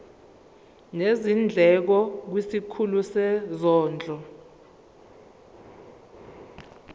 nezindleko kwisikhulu sezondlo